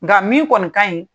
Nga min kɔni ka ɲi